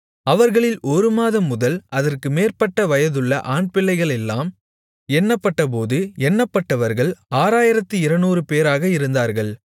அவர்களில் ஒரு மாதம் முதல் அதற்கு மேற்பட்ட வயதுள்ள ஆண்பிள்ளைகளெல்லாம் எண்ணப்பட்டபோது எண்ணப்பட்டவர்கள் 6200 பேராக இருந்தார்கள்